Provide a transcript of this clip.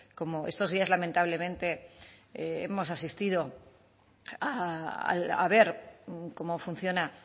cómo estos días lamentablemente hemos asistido a ver cómo funciona